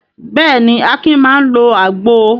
Bẹ́ẹ̀ ni, Akin máa ń lo àgbo.